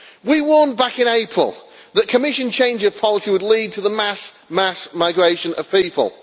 We warned back in April that a Commission change of policy would lead to the mass migration of people.